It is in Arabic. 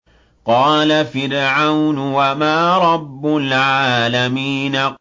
قَالَ فِرْعَوْنُ وَمَا رَبُّ الْعَالَمِينَ